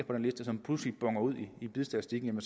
på den liste som pludselig bonner ud i bidstatistikken